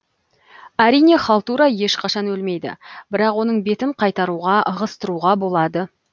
әрине халтура ешқашан өлмейді бірақ оның бетін қайтаруға ығыстыруға болады